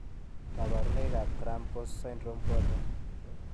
Kabarunoik ab Graham Cox syndrome ko achon?